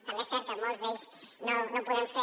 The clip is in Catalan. també és cert que en molts d’ells no ho podem fer